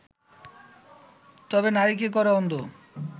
তবে নারীকে করে অন্ধ